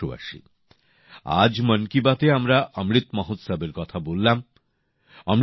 আমার প্রিয় দেশবাসী আজ মন কি বাতএ আমরা অমৃত মহোৎসবের কথা বললাম